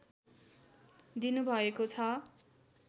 दिनुभएको छ